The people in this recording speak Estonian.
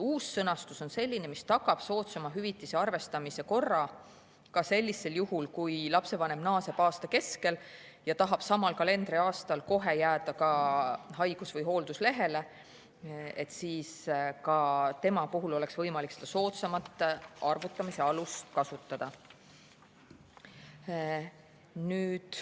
Uus sõnastus on selline, mis tagab soodsama hüvitise arvestamise korra ka sellisel juhul, kui lapsevanem naaseb aasta keskel ja tahab samal kalendriaastal kohe jääda haigus- või hoolduslehele, nii et ka tema puhul oleks võimalik soodsamat arvutamise alust kasutada.